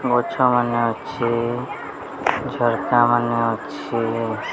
ଗଛ ମାନେ ଅଛେ। ଝର୍କା ମାନେ ଅଛେ।